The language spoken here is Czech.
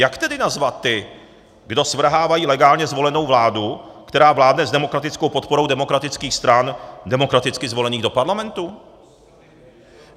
Jak tedy nazvat ty, kdo svrhávají legálně zvolenou vládu, která vládne s demokratickou podporou demokratických stran demokraticky zvolených do parlamentu?